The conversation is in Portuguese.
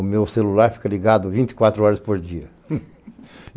O meu celular fica ligado vinte e quatro horas por dia.